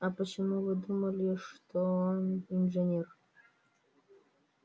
а почему вы думали что он инженер